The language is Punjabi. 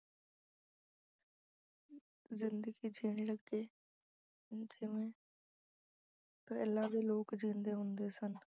ਜ਼ਿੰਦਗੀ ਜੀਣ ਲੱਗੇ ਜਿਵੇਂ ਪਹਿਲਾਂ ਦੇ ਲੋਕ ਜਿਉਂਦੇ ਹੁੰਦੇ ਸਨ।